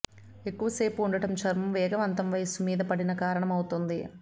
ఎక్కువ సేపు ఉండటం చర్మం వేగవంతం వయస్సు మీదపడిన కారణమవుతుంది